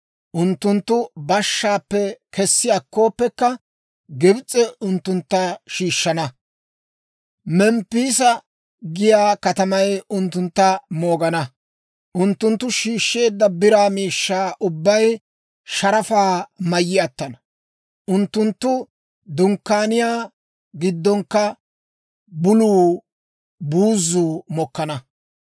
Unttunttu bashshaappe kessi akkooppekka, Gibs'ee unttuntta shiishshana; Memppiisa giyaa katamay unttuntta moogana. Unttunttu shiishsheedda biraa miishshaa ubbay sharafaa mayyi attana; unttunttu dunkkaaniyaa giddonkka buluu buuzzuu mokkana.